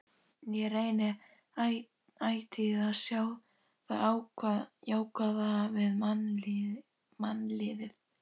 Ég reyni ætíð að sjá það jákvæða við mannlífið.